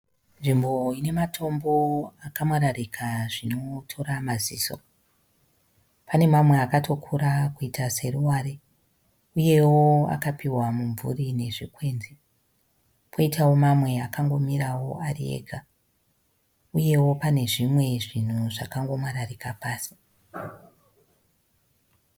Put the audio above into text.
Nzvimbo ine matombo akamwararika zvinotora maziso. Pane amwe akatokura kuita seruware uyewo akapuwa mumvuri nezvikwenzi. Poitawo amwe akangomirawo ari ega. Uyewo pane zvimwe zvinhu zvakangomwararika pasi.